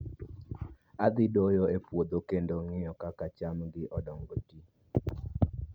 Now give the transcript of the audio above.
Adhi doyo e puodho, kendo ng'iyo kaka cham gi oganda ti